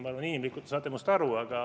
Ma arvan, et inimlikult te saate minust aru.